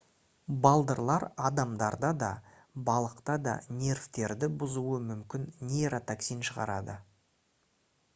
балдырлар адамдарда да балықта да нервтерді бұзуы мүмкін нейротоксин шығарады